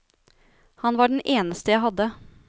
Han var den eneste jeg hadde.